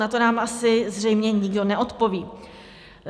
Na to nám asi zřejmě nikdo neodpoví.